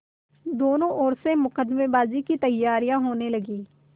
दोनों ओर से मुकदमेबाजी की तैयारियॉँ होने लगीं